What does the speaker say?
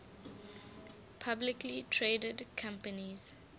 publicly traded companies